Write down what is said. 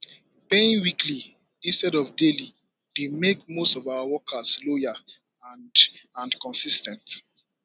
paying weekly instead of daily dey make most of our workers loyal and and consis ten t